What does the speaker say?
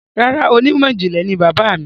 Rárá, onímọ̀ ìjìnlẹ̀ ni bàbáà mi.